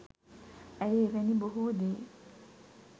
ඇය එවැනි බොහෝ දේ